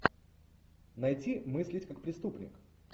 найти мыслить как преступник